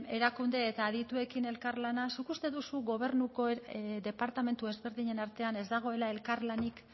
erakunde eta adituekin elkarlana zuk uste duzu gobernuko departamentu ezberdinen artean ez dagoela elkarlanik